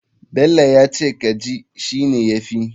Bello yace kaji shine yafi.